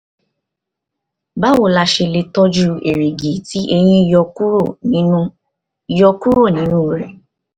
báwo la ṣe lè tọ́jú èrìgì tí eyín yọ kúrò nínú yọ kúrò nínú rẹ̀?